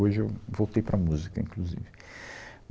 Hoje eu voltei para a música, inclusive.